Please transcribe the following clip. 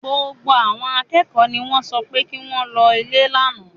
Gbogbo àwọn akẹ́kọ̀ọ́ ni wọ́n sọ fún pé kí wọ́n lọlé lánàá